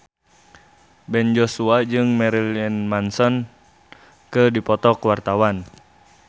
Ben Joshua jeung Marilyn Manson keur dipoto ku wartawan